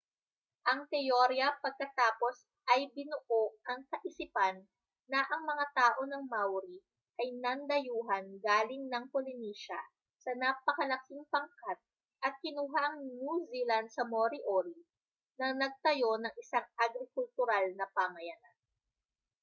ang teorya pagkatapos ay binuo ang kaisipan na ang mga tao ng maori ay nandayuhan galing ng polynesia sa napakalaking pangkat at kinuha ang new zealand sa moriori na nagtayo ng isang agrikultural na pamayanan